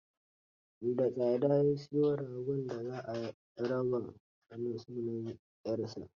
Da tsada ya siyo goron da za a raba na sunan 'yarsa.